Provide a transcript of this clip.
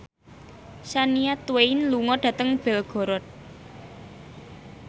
Shania Twain lunga dhateng Belgorod